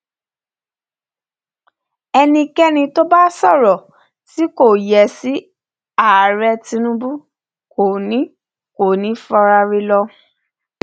ẹnikẹni tó bá sọrọ tí kò yẹ sí ààrẹ tinubu kò ní kò ní í faraà rẹ lọ